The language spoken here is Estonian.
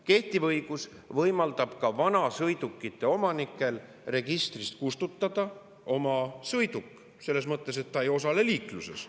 Kehtiv õigus võimaldab ka vanasõidukite omanikel oma sõiduk registrist kustutada, selles mõttes, et ta ei osale liikluses.